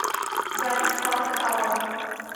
запись парк тауэр